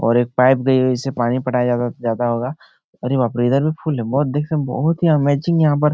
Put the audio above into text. और एक पाइप भी जिससे पानी पटाया जाता होगा अरे बाप रे इधर भी फुल है बहुत देखने मे बहुत ही अमेजिंग यहाँ पर --